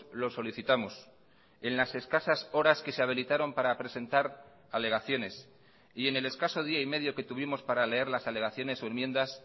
lo solicitamos en las escasas horas que se habilitaron para presentar alegaciones y en el escaso día y medio que tuvimos para leer las alegaciones o enmiendas